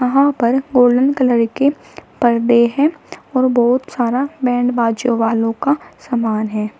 यहां पर golden colour के पर्दे है और बहुत सारा बैंड बाजों वालों का समान है।